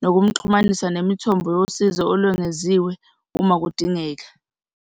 nokumxhumanisa nemithombo yosizo olwengeziwe uma kudingeka.